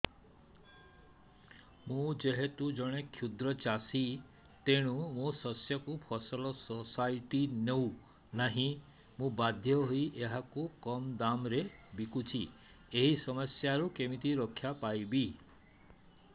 ମୁଁ ଯେହେତୁ ଜଣେ କ୍ଷୁଦ୍ର ଚାଷୀ ତେଣୁ ମୋ ଶସ୍ୟକୁ ଫସଲ ସୋସାଇଟି ନେଉ ନାହିଁ ମୁ ବାଧ୍ୟ ହୋଇ ଏହାକୁ କମ୍ ଦାମ୍ ରେ ବିକୁଛି ଏହି ସମସ୍ୟାରୁ କେମିତି ରକ୍ଷାପାଇ ପାରିବି